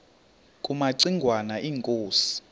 kumaci ngwana inkosi